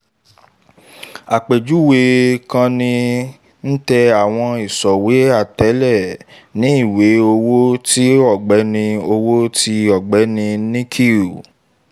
àpèjúwe kin-ní: tẹ́ àwọn ìṣòwò atẹ̀lé ní ìwé owó ti ọ̀gbẹ́ni owó ti ọ̀gbẹ́ni nikhil